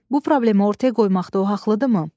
Bu problemi ortaya qoymaqda o haqlıdırmı?